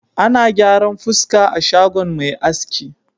Ana gyaran fuska a shagon mai aski.